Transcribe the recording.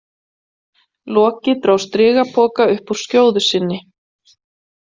Loki dró strigapoka upp úr skjóðu sinni.